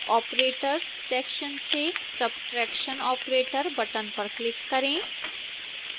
operators section से subtraction operator button पर click करें